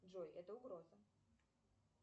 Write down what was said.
джой это угроза